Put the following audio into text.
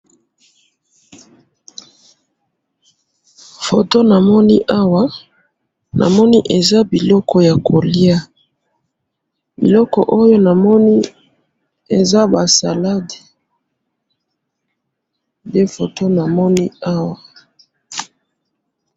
foto namoni awa namoni eza biloko ya koliya biloko oyo namoni eza ba salade nde foto namoni awa.